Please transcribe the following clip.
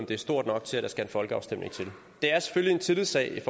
det er stort nok til at der skal en folkeafstemning til det er selvfølgelig en tillidssag i